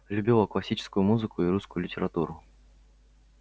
любила классическую музыку и русскую литературу